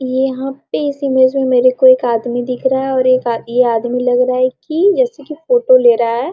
ये यहाँ पे इस इमेज में मेरे को एक आदमी दिख रहा है और एक आ ये आदमी लग रहा है कि जैसे की फोटो ले रहा है।